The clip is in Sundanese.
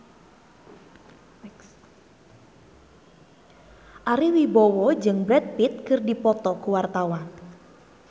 Ari Wibowo jeung Brad Pitt keur dipoto ku wartawan